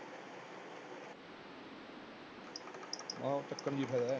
ਆਹੋ ਚੱਕਣ ਚ ਹੀ ਫਾਇਦਾ ਐ